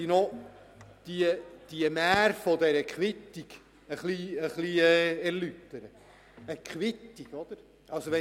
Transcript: Nun möchte ich noch etwas zur Mär von der Quittung sagen.